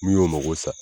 Min y'o mago sa